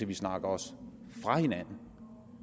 vi snakker os fra hinanden